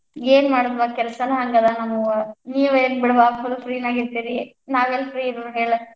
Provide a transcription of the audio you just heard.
ಏನ್ ಮಾಡೋದ್ವಾ ಕೆಲಸಾನ್ ಹಂಗ ಅದಾವ ನಮ್ಮವ್, ನೀವೇನ್ ಬಿಡವಾ free ನ್ಯಾಗ್ ಇರ್ತೀರಿ, ನಾವೆಲ್ free ಇರುಣ ಹೇಳ್?